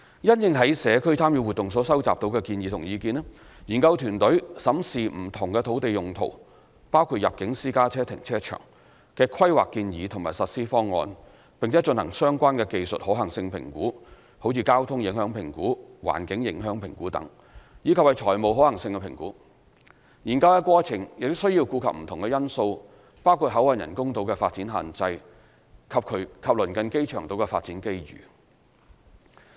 因應在社區參與活動所收集到的建議和意見，研究團隊審視不同土地用途的規劃建議和實施方案，並進行相關的技術可行性評估及財務可行性評估。研究的過程需要顧及不同因素，包括口岸人工島的發展限制及鄰近機場島的發展機遇。